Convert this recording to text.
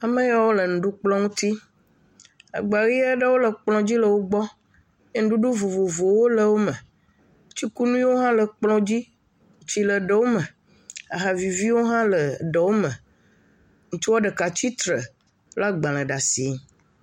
Ameyɔ le nuɖukplɔ nti, agba ʋe aɖewo le kplɔ̃ dzi le wogbɔ. Enuɖuɖu vovovowo le wo me, tsikunuiwo hã le kplɔ̃ dzi, tsi le ɖewo me, aha viviwo hã le ɖewo me, ŋutsuɔ ɖeka tsi tre le agbalẽ ɖe asi.